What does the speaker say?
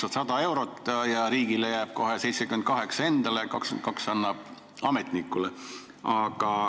Sa maksad 100 eurot: riigile jääb 78 eurot ja 22 eurot annab ta ametnikule.